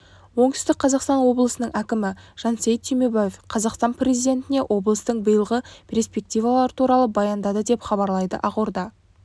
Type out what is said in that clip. оңтүстік қазақстан облысының әкімі жансейіт түймебаев қазақстан президентіне облыстың биылғы перспективалары туралы баяндады деп хабарлайды ақорда